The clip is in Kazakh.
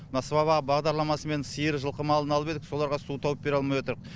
мына сыбаға бағдарламасымен сиыр жылқы малын алып едік соларға су тауып бере алмай отырқ